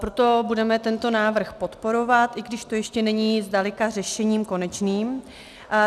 Proto budeme tento návrh podporovat, i když to ještě není zdaleka řešením konečným.